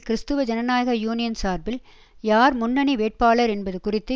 கிறிஸ்துவ ஜனநாயக யூனியன் சார்பில் யார் முன்னணி வேட்பாளர் என்பது குறித்து